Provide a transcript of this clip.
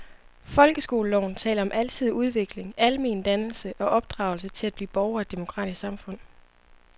Folkeskoleloven taler om alsidig udvikling, almen dannelse og opdragelse til at blive borger i et demokratisk samfund.